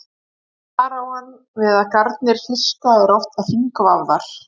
þar á hann við að garnir fiska eru oft hringvafðar